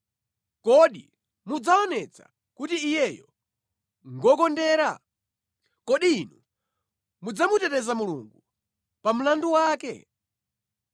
Kodi mudzaonetsa kuti Iyeyo ngokondera? Kodi inu mudzamuteteza Mulungu pa mlandu wake?